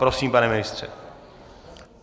Prosím, pane ministře.